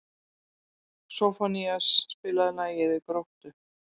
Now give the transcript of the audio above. Soffanías, spilaðu lagið „Við Gróttu“.